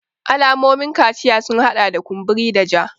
Alamomin kaciya sun hada da kumburi da ja